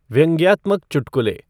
व्यंग्यात्मक चुटकुले